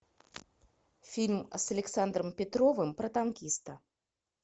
фильм с александром петровым про танкиста